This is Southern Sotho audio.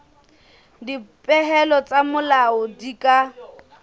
dipehelo tsa leano di ka